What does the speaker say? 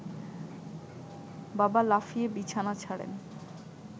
বাবা লাফিয়ে বিছানা ছাড়েন